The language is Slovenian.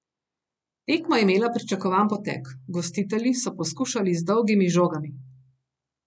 Tekma je imela pričakovan potek, gostitelji so poskušali z dolgimi žogami.